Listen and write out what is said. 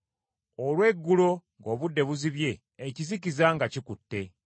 olw’eggulo ng’obudde buzibye, ekizikiza nga kikutte.